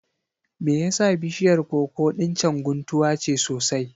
Me yasa bishiyar koko ɗin can guntuwa ce sosai?